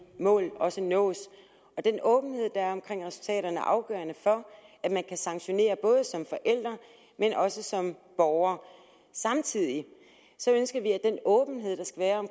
mål også nås og den åbenhed der er om resultaterne er afgørende for at man kan sanktionere både som forælder og også som borger samtidig ønsker vi at den åbenhed der skal være om